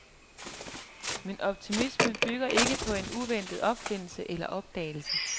Min optimisme bygger ikke på en uventet opfindelse eller opdagelse.